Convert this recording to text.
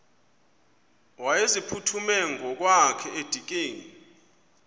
wayeziphuthume ngokwakhe edikeni